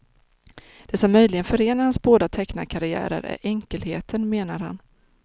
Det som möjligen förenar hans båda tecknarkarriärer är enkelheten, menar han.